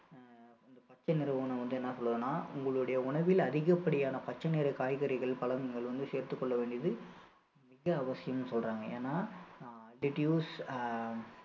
பச்சைநிற உணவு வந்து என்ன சொல்லுதுன்னா உங்களுடைய உணவில் அதிகப்படியான பச்சை நிற காய்கறிகள் பழங்கள் வந்து சேர்த்துக் கொள்ள வேண்டியது மிக அவசியம்னு சொல்றாங்க ஏன்னா ஆஹ்